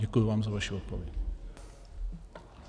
Děkuji vám za vaši odpověď.